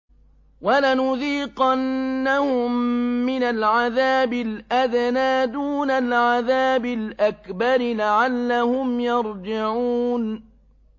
وَلَنُذِيقَنَّهُم مِّنَ الْعَذَابِ الْأَدْنَىٰ دُونَ الْعَذَابِ الْأَكْبَرِ لَعَلَّهُمْ يَرْجِعُونَ